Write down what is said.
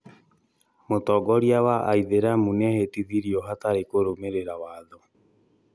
Mũtongoria wa aithĩramu nĩehĩtithirio hatarĩ kũrũmĩrĩra watho